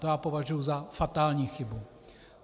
To já považuji za fatální chybu.